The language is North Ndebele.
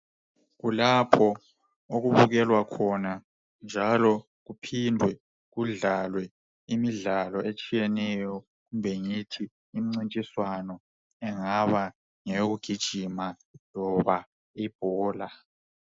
Kulapho okubukelwa khona njalo kuphindwe kudlalwe imidlalo etshiyeneyo. Kumbe ngithi imincintiswano ingaba ngeyokugijima kumbe imidlalo yebhola.